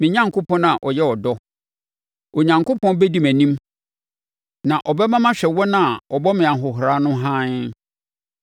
me Onyankopɔn a ɔyɛ ɔdɔ. Onyankopɔn bɛdi mʼanim na ɔbɛma mahwɛ wɔn a wɔbɔ me ahohora no haa.